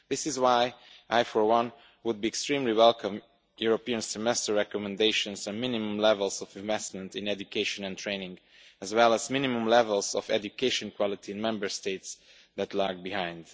This is why I, for one, would be extremely glad to see European Semester recommendations on minimum levels of investment in education and training, as well as minimum levels of education quality in Member States that lag behind.